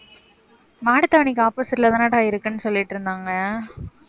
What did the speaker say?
மாட்டுத்தாவணிக்கு opposite லதானடா இருக்குன்னு சொல்லிட்டு இருந்தாங்க